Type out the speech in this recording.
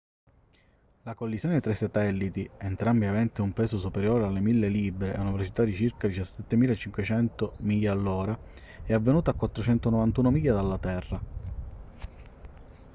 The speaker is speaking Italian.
la collisione tra i satelliti entrambi aventi un peso superiore alle 1.000 libbre e una velocità di circa 17.500 miglia all'ora è avvenuta a 491 miglia dalla terra